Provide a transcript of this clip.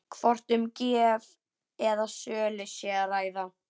Hvort um gjöf eða sölu sé að ræða?